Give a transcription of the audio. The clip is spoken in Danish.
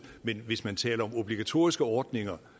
men hvis man taler om obligatoriske ordninger